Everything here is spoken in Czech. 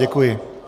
Děkuji.